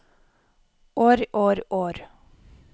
år år år